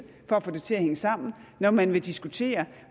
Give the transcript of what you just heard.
for at få det til at hænge sammen når man vil diskutere